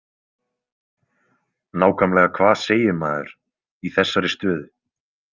Nákvæmlega hvað segir maður í þessari stöðu?